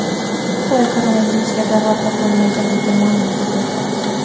Xitoy koronavirusga davo topilganini ma’lum qildi.